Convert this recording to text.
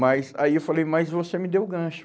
Mas aí eu falei, mas você me deu o gancho.